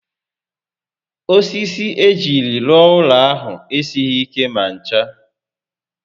Osisi ejiri rụọụlọ ahụ esighi ike ma ncha